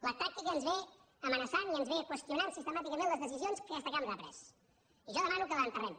la tàctica ens amenaça i ens qüestiona sistemàticament les decisions que aquesta cambra ha pres i jo demano que l’enterrem